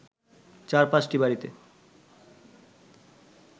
৪/৫টি বাড়িতে